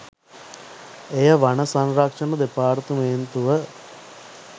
එය වන සංරක්ෂණ දෙපාර්තමේන්තුව